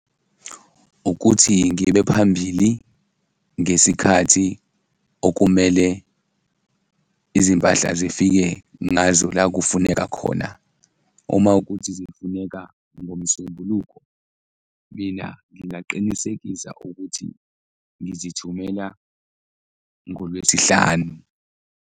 Ukuthi ngibe phambili ngesikhathi okumele izimpahla zifike ngazo la kufuneka khona, uma ukuthi zifuneka ngoMsombuluko, mina ngingaqinisekisa ukuthi ngizithumela ngoLwesihlanu.